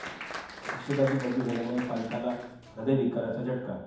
शिक्षकाची बदली झाल्यामुळे पालकाला हृदयविकाराचा झटका